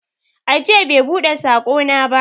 Ajiya bai buɗe saƙona ba.